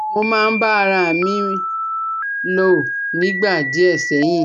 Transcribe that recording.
Mo máa ń bá ara à mi lò nígbà díẹ̀ sẹ́yìn